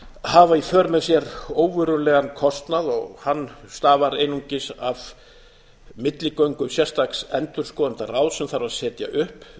hafa í för með sér óverulegan kostnað og hann stafar einungis af milligöngu sérstaks endurskoðendaráðs sem þarf að setja upp